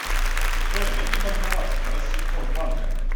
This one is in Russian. джой найди банкомат россельхозбанка